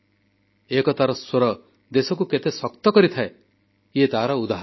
ଏକତାର ସ୍ୱର ଦେଶକୁ କେତେ ଶକ୍ତ କରିଥାଏ ଏହା ତାର ଉଦାହରଣ